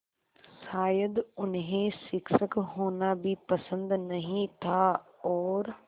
शायद उन्हें शिक्षक होना भी पसंद नहीं था और